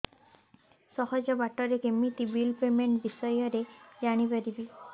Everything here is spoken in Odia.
ସହଜ ବାଟ ରେ କେମିତି ବିଲ୍ ପେମେଣ୍ଟ ବିଷୟ ରେ ଜାଣି ପାରିବି